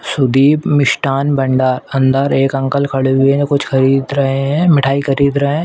सुदीप मिष्ठान भंडार अंदर एक अंकल खड़े हुए हैं कुछ खरीद रहे हैं मिठाई खरीद रहे हैं|